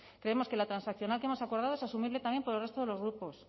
creemos que la transaccional que hemos acordado es asumible también por el resto de los grupos